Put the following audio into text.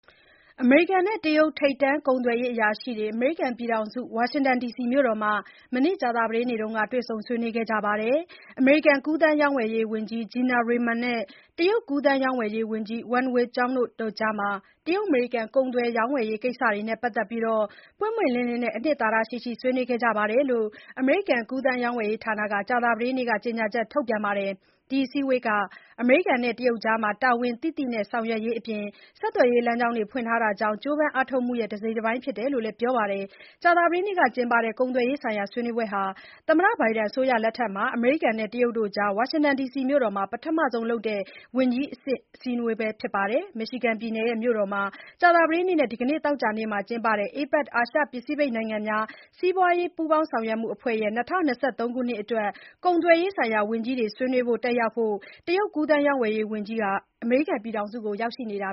အမေရိကန်နဲ့ တရုတ် ထိပ်တန်းကုန်သွယ်ရေးအရာရှိတွေ ဝါရှင်တန်ဒီစီမှာ မနေ့ကြာသပတေးနေ့က တွေ့ဆုံဆွေးနွေးခဲ့ကြပါတယ်။ အမေရိကန် ကူးသန်းရောင်းဝယ်ရေးဝန်ကြီး Gina Raimond နဲ့ တရုတ် ကူးသန်းရောင်းဝယ်ရေးဝန်ကြီး Wang Wentao တို့ ကြား တရုတ် အမေရိကန် ကူးသန်းရောင်းဝယ်ရေး ကိစ္စရပ်တွေနဲ့ ပတ်သတ်လို့ ပွင့်ပွင့်လင်းလင်းနဲ့ အနှစ်သာရရှိရှိ ဆွေးနွေးနိုင်ခဲ့ကြတယ်လို့ အမေရိကန် ကူသန်းရောင်းဝယ်ရေးဌာနက ကြာသပတေးနေ့မှာ ကြေညာချက် ထုတ်ပါတယ်။ ဒီအစည်းအဝေးဟာ အမေရိကန် တရုတ်အကြား တာဝန်သိသိနဲ့ ဆောင်ရွက်ရေးအပြင်၊ ဆက်သွယ်ရေးလမ်းကြောင်း ဖွင့်ထားဖို့ ကြိုးပမ်းအားထုတ်မှု တစိတ်တပိုင်း ဖြစ်တယ်လို့လည်း ပြောပါတယ်။ ကြာသပတေးနေ့က ကုန်သွယ်ရေးဆိုင်ရာ ဆွေးနွေးပွဲဟာ ဘိုင်ဒန်အစိုးရလက်ထက်မှာ အမေရိကန်နဲ့ တရုတ်ကြား ဝါရှင်တန်မြို့တော်မှာ ပထမဆုံးလုပ်တဲ့ ဝန်ကြီးအဆင့် ဆွေးနွေးပွဲဖြစ်ပါတယ်။ Michigan ပြည်နယ်မြို့တော် Detroit မှာ ကြာသပတေးနဲ့ ဒီကနေ့သောကြာနေ့မှာ ကျင်းပတဲ့ APEC အာရှပစိဖိတ်နိုင်ငံများ စီးပွားရေးပူးပေါင်းဆောင်ရွက်မှုအဖွဲ့ရဲ့ ၂၀၂၃ အတွက် ကုန်သွယ်ရေးဆိုင်ရာဝန်ကြီးတွေ ဆွေးနွေးပွဲ တက်ရောက်ဖို့ တရုတ်ကူးသန်းရောင်းဝယ်ရေးဝန်ကြီး Wang အမေရိကန်ပြည်ထောင်စုကို ရောက်နေတာ